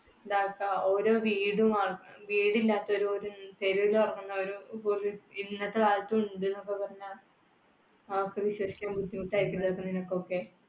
വീടില്ലാത്തവരും, തെരുവിലിറങ്ങുന്നവരും, ഇന്നത്തെ കാലത്ത് ഉണ്ട് എന്നൊക്കെ പറഞ്ഞാൽ, ആർക്കും വിശ്വസിക്കാൻ ബുദ്ധിമുട്ട് ആയിരിക്കും ചെലപ്പൊ നിനക്കൊക്കെ